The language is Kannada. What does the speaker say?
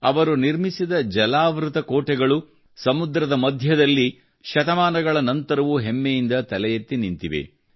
ಅವರು ನಿರ್ಮಿಸಿದ ಜಲಾವೃತ ಕೋಟೆಗಳು ಸಮುದ್ರದ ಮಧ್ಯದಲ್ಲಿ ಶತಮಾನಗಳ ನಂತರವೂ ಹೆಮ್ಮೆಯಿಂದ ತಲೆಎತ್ತಿ ನಿಂತಿವೆ